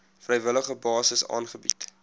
vrywillige basis aangebied